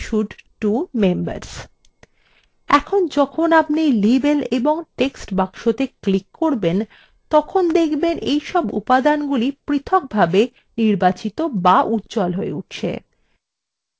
এখন যখন আপনি labels এবং text বাক্সতে click করবেন তখন দেখবেন যে এইসব উপাদানগুলি পৃথকভাবে নির্বাচিত বা উজ্জ্বল হয়ে উঠছে